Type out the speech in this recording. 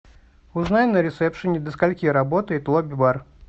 узнай на ресепшене до скольки работает лобби бар